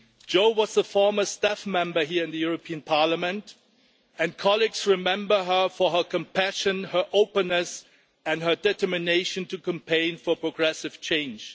Jo was a former staff member here in the European Parliament and colleagues remember her for her compassion, her openness and her determination to campaign for progressive change.